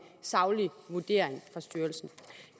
saglig vurdering fra styrelsen